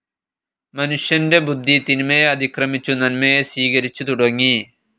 മനുഷ്യൻ്റെ ബുദ്ധി തിന്മയെ അതിക്രമിച്ചു നന്മയെ സ്വീകരിച്ചു തുടങ്ങി.